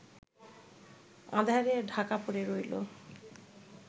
আঁধারে ঢাকা পড়ে রইলো